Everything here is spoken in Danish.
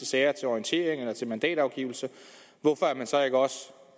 sager til orientering eller til mandatafgivelse så ikke også